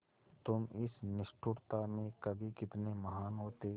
तुम इस निष्ठुरता में भी कितने महान् होते